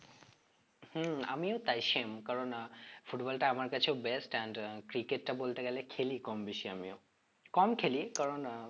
হম আমিও তাই same কারণ আহ football টা আমার কাছেও best and আহ cricket টা বলতে গেলে খেলি কম বেশি আমিও কম খেলি কারণ আহ